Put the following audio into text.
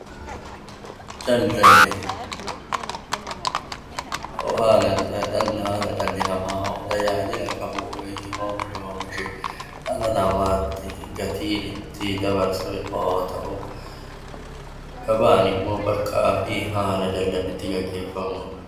Daldalli haala dhalli namaa tajaajila qabu dhala namaatti gatiin itti dabarsu yoo ta'u, gabaan immoo bakka daldalaa fi haala daldalli itti gaggeeffamudha.